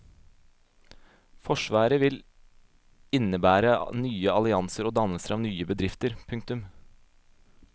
Forsvaret vil innebære nye allianser og dannelse av nye bedrifter. punktum